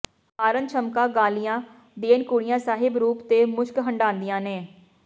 ਮਾਰਨ ਛਮਕਾਂ ਗਾਲੀਆਂ ਦੇਣ ਕੁੜੀਆਂ ਸਾਹਿਬ ਰੂਪ ਤੇ ਮੁਸ਼ਕ ਹੰਢਾਦੀਆਂ ਨੇ